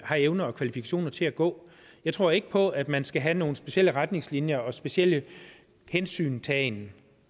har evner og kvalifikationer til at gå jeg tror ikke på at man skal have nogle specielle retningslinjer og en speciel hensyntagen